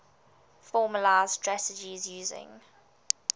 formalised strategies using